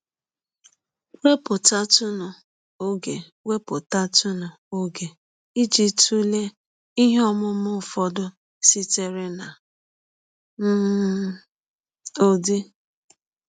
Wepụtatụ ọge Wepụtatụ ọge iji tụlee ihe ọmụma ụfọdụ sitere na um Udi.